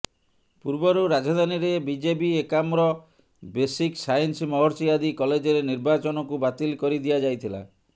ପୂର୍ବରୁ ରାଜଧାନୀରେ BJB Ekamra basic science Maharshi ଆଦି କଲେଜରେ ନିର୍ବାଚନକୁ ବାତିଲ କରିଦିଆଯାଇଥଲା